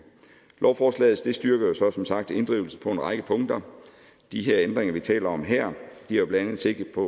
lovforslaget styrker jo som sagt inddrivelse på en række punkter de ændringer vi taler om her har jo blandt andet sigte på